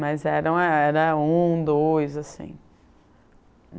Mas eram era um, dois assim.